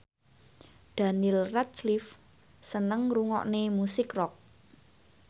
Daniel Radcliffe seneng ngrungokne musik rock